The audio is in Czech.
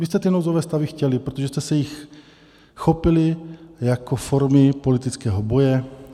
Vy jste ty nouzové stavy chtěli, protože jste se jich chopili jako formy politického boje.